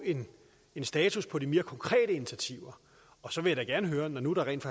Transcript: en status på de mere konkrete initiativer og så vil jeg da gerne høre når nu der rent